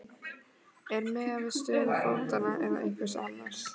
Eða er miðað við stöðu fótanna eða einhvers annars?